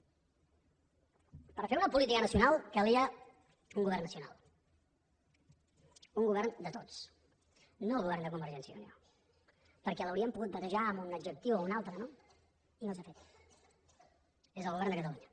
per fer una política nacional calia un govern nacional un govern de tots no el govern de convergència i unió perquè l’hauríem pogut batejar amb un adjectiu o un altre no i no s’ha fet és el govern de catalunya